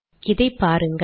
இதை பாருங்கள்